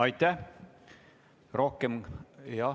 Aitäh!